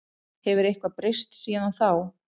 Hefur eitthvað breyst síðan þá?